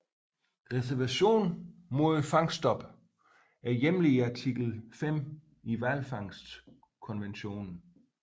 Reservationen mod fangststoppet er hjemlet i Artikel V i hvalfangstkonventionen